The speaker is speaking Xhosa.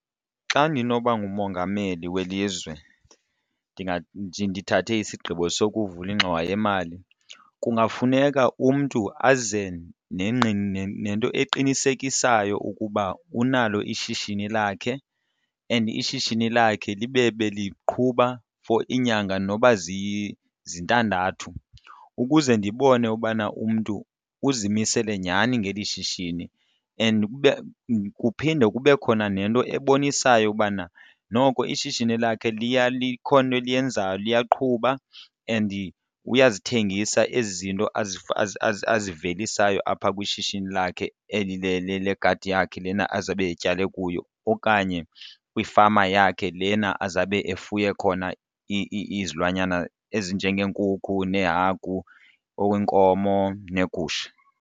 Xa ndinoba ngumongameli welizwe ndithathe isigqibo sokuvula ingxowa yemali kungafuneka umntu aze nento eqinisekisayo ukuba unalo ishishini lakhe and ishishini lakhe libe beliqhuba for iinyanga noba zintandathu ukuze ndibone ubana umntu uzimisele nyhani ngeli shishini and kube kuphinde kube khona nento ebonisayo ubana noko ishishini lakhe liya likhona into eliyenzayo liyaqhuba and uyazithengisa ezi zinto azivelisayo apha kwishishini lakhe eli legadi yakhe lena azabe atyale kuyo okanye kwifama yakhe lena azabe efuye khona izilwanyana ezinjengeenkukhu neehagu, iinkomo neegusha.